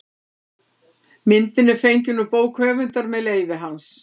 Myndin er fengin út bók höfundar með leyfi hans.